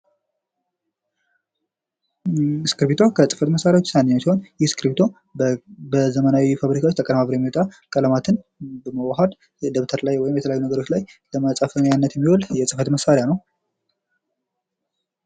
እስክርቢቶ ከፅህፈት መሳሪያዎች ዉስጥ አንዱ ሲሆን እስክርቢቶ በዘመናዊ ፋብሪካዎች ተቀነባብሮ የሚወጣ ቀለማትን በማዋሀድ ደብተር ላይ ወይም የተለያዩ ነገሮች ላይ ለመፃፊያነት የሚዉል የፅህፈት መሳሪያ ነዉ።